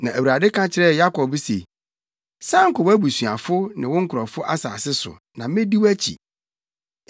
Na Awurade ka kyerɛɛ Yakob se, “San kɔ wʼabusuafo ne wo nkurɔfo asase so, na medi wʼakyi.”